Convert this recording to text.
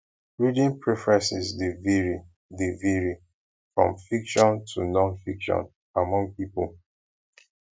reading preferences dey vary dey vary from fiction to nonfiction among people